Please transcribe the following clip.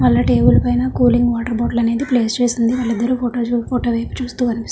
అన్ని టేబుల్ పైన cooling water bottle అనేది ప్లేస్ చేసి ఉంది వారు ఇద్దరు ఫోటో వైపు చూస్తూకనిపిస్--